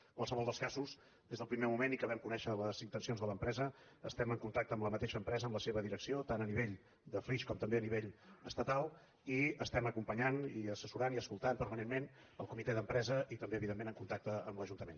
en qualsevol dels casos des del primer moment que vam conèixer les intencions de l’empresa estem en contacte amb la mateixa empresa amb la seva direcció tant a nivell de flix com també a nivell estatal i estem acompanyant i assessorant i escoltant permanentment el comitè d’empresa i també evidentment en contacte amb l’ajuntament